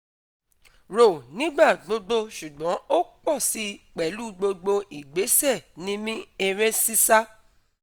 rò nígbà gbogbo ṣùgbọ́n ó pọ̀ si pẹ̀lú gbogbo ìgbésẹ̀ mímí eré sísá.